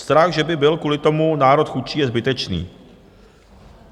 Strach, že by byl kvůli tomu národ chudší, je zbytečný.